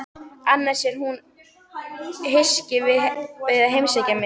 Annars er hún hyskin við að heimsækja mig.